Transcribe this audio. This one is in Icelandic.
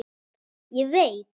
Ég veit.